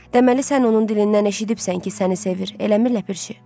Deməli sən onun dilindən eşidibsən ki, səni sevir, eləmir ləpirçi?